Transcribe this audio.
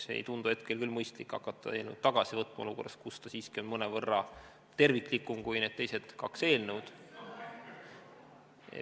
Ei tundu küll hetkel mõistlik hakata eelnõu tagasi võtma olukorras, kus ta siiski on mõnevõrra terviklikum kui teised kaks eelnõu.